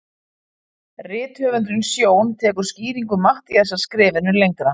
Rithöfundurinn Sjón tekur skýringu Matthíasar skrefinu lengra.